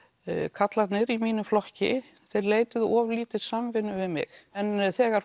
karlarnir í mínum flokki leituðu of lítið samvinnu við mig en þegar